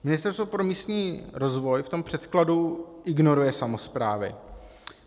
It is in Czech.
Ministerstvo pro místní rozvoj v tom předkladu ignoruje samosprávy.